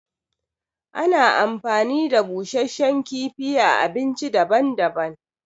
Ana amfani da busashen kifi a abinci daban daban